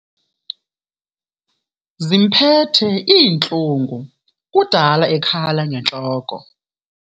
Zimphethe iintlungu kudala ekhala ngentloko.